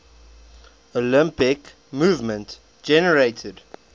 olympic movement generated